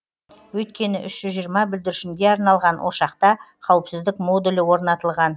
өйткені үш жүз жиырма бүлдіршінге арналған ошақта қауіпсіздік модулі орнатылған